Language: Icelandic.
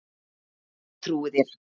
Ég trúi þér